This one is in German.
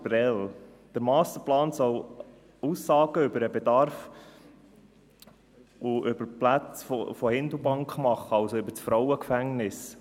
Der Masterplan soll Aussagen über den Bedarf und über die Plätze von Hindelbank machen, also über das Frauengefängnis.